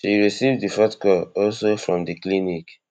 she receive di fourth call also from di clinic